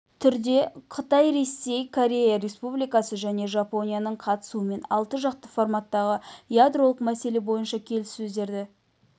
түрде қытай ресей корея республикасы және жапонияның қатысуымен алты жақты форматтағы ядролық мәселе бойынша келіссөздерді